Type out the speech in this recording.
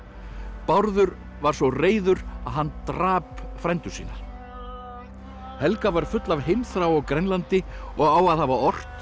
Bárður var svo reiður að hann drap frændur sína helga var full af heimþrá á Grænlandi og á að hafa ort